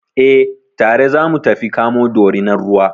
Eh, tare za mu tafi kamo Dorinar ruwa.